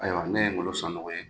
Ayiwa ne ye NGOLO SANOGO ye.